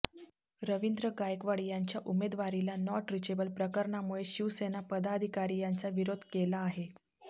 रवींद्र गायकवाड यांच्या उमेदवारीला not reachable प्रकरणामुळे शिवसेना पदाधिकारी यांचा विरोध केला आहे